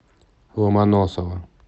ломоносова